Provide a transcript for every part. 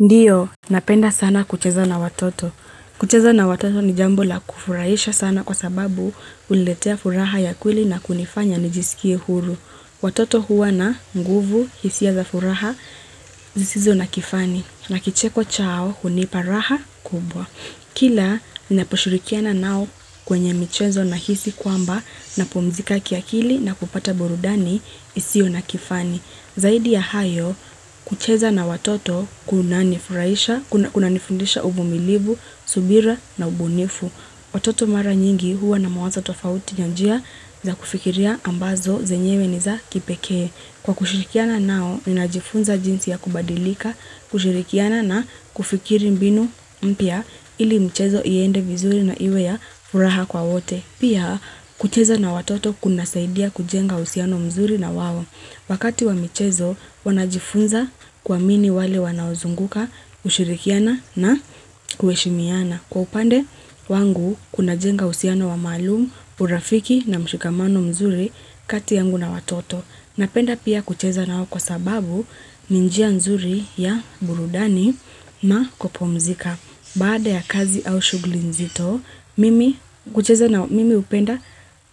Ndiyo napenda sana kucheza na watoto. Kucheza na watoto ni jambo la kufurahisha sana kwa sababu huniletea furaha ya kweli na kunifanya nijisikie huru. Watoto huwa na nguvu, hisia za furaha zisizo na kifani. Na kicheko chao, hunipa raha kubwa. Kila, ninaposhirikiana nao kwenye michezo nahisi kwamba napumzika kiakili na kupata burudani, isiyo na kifani. Zaidi ya hayo, kucheza na watoto kunanifundisha uvumilivu, subira na ubunifu. Watoto mara nyingi huwa na mawazo tofauti na njia za kufikiria ambazo zenyewe ni za kipekee. Kwa kushirikiana nao, ninajifunza jinsi ya kubadilika, kushirikiana na kufikiri mbinu mpya ili mchezo iende vizuri na iwe ya furaha kwa wote. Pia kucheza na watoto kunasaidia kujenga uhusiano mzuri na wao wakati wa michezo wanajifunza kwa nini wale wanaozunguka hushirikiana na kuheshimiana. Kwa upande wangu kuna jenga uhusiano wa maalumu, urafiki na mshikamano mzuri kati yangu na watoto. Napenda pia kucheza na wao kwa sababu ni njia nzuri ya burudani na kupumzika. Baada ya kazi au shughuli nzito, mimi hupenda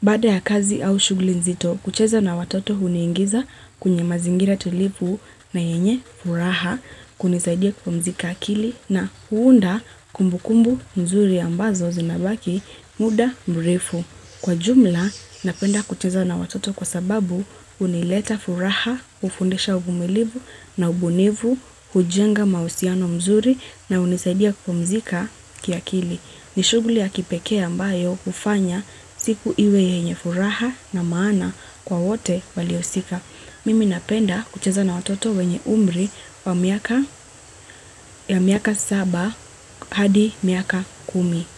baada ya kazi au shughi nzito, kucheza na watoto huniingiza kwenye mazingira tulivu na yenye furaha, kunisaidia kupumzika akili na huunda kumbu kumbu mzuri ambazo zinabaki muda mrefu. Kwa jumla, napenda kucheza na watoto kwa sababu hunileta furaha, hufundisha uvumilivu na ubunifu, hujenga mahusiano mzuri na hunisaidia kupumzika kiakili. Ni shughuli ya kipekee ambayo kufanya siku iwe yenye furaha na maana kwa wote waliousika. Mimi napenda kucheza na watoto wenye umri wa miaka saba hadi miaka kumi.